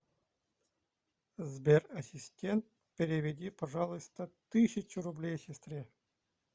сбер ассистент переведи пожалуйста тысячу рублей сестре